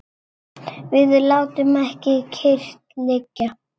Við látum ekki kyrrt liggja.